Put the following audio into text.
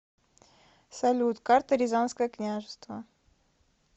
салют карта рязанское княжество